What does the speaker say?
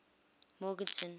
morgenzon